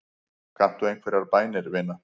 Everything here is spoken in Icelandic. Kanntu einhverjar bænir, vina?